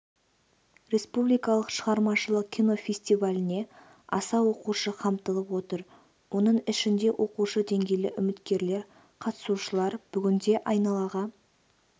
республикалық шығармашылық кино фестиваліне аса оқушы қамтылып отыр оның ішінде оқушы деңгейлі үміткерлер қатысушылар бүгінде айналаға